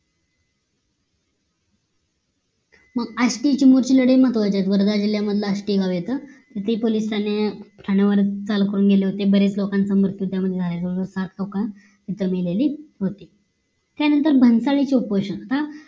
आष्टीची महत्वाची लढाई महत्वाची आहे वर्धा जिल्ल्यामध्ये आष्टी गाव येत तिथेही पोलीस ठाणे ठाणेवर चाल करून गेले होते बरेच लोकांचं मृत्यू त्यात झाला साथ लोक इथे मेलेली होती त्यानंतर भन्सालीनची उपोषण हा